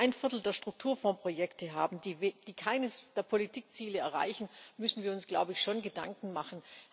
Wenn wir ein Viertel der Strukturfondsprojekte haben, die keines der Politikziele erreichen, müssen wir uns schon Gedanken machen.